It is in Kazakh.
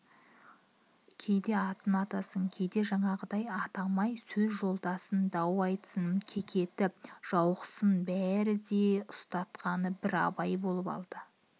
кейде атын атасын кейде жаңағыдай атамай сөз жолдасын дау айтсын кекетіп жауықсын бәрінде ұстасқаны бір абай болып алды